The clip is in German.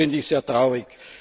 Das finde ich sehr traurig.